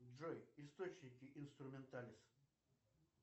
джой источники инструменталис